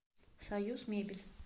союзмебель